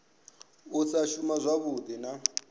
u sa shuma zwavhui na